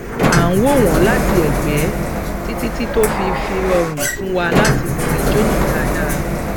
à ń wò wọn láti ẹgbẹ títí tí tó fi rọrùn fún wa láti mọ ijó náà dáadáa